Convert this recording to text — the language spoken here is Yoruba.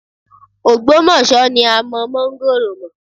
Ọ̀gbómọ̀ṣọ́ ni a mọ máńgórò mọ́